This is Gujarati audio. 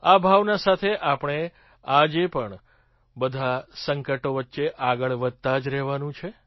આ ભાવના સાથે આપણે આજ પણ આ બધાં સંકટો વચ્ચે આગળ વધતા જ રહેવાનું છે